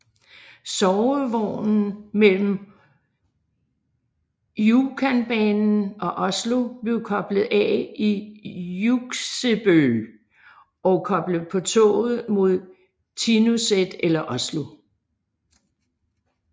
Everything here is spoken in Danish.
Sovevognen mellem Rjukanbanen og Oslo blev koblet af i Hjuksebø og koblet på toget mod Tinnoset eller Oslo